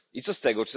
i co z tego?